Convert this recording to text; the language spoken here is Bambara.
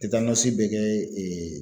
bɛ kɛ